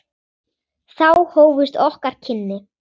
Þá hófust okkar kynni.